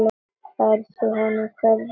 Berðu honum kveðju mína.